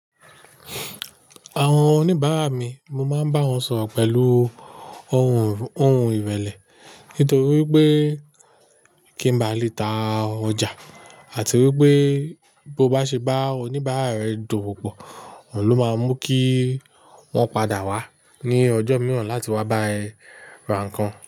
Àwọn oníbàárà mi, mo máa ń bá wọn sọ̀rọ̀ pẹ̀lú ohùn, ohùn ìrẹ̀lẹ̀ nítorí wipé kí n ba lè ta ọjà àti wípé bo bá ṣe bá awon oníbàárà rẹ dowopọ̀, òun ló máa mú kí wọ́n padà wá ní ọjọ́ mìíràn láti wá bá ẹ ra nǹkan.